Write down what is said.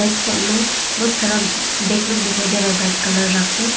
इस साइड में बहुत सारा व्यक् लोग दिखाई दे रहा है व्हाइट कलर रख के।